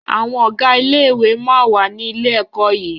Àwọn Ọ̀gá ilé-ìwé máa wà ní ilé-ẹ̀kọ́ yìí